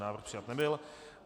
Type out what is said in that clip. Návrh přijat nebyl.